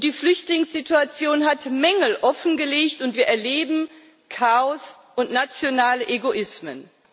Die Flüchtlingssituation hat Mängel offengelegt, und wir erleben Chaos und nationale Egoismen.